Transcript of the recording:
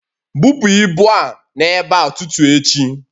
Bupu ibu a n'ebe a tutu echi!